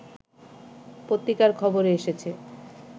পত্রিকার খবরে এসেছে